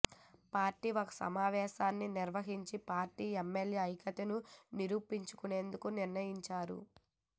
party ఒక సమావేశాన్ని నిర్వహించి పార్టీ ఎమ్మెల్యేల ఐక్యతను నిరూపించుకునేందుకు నిర్ణయించారు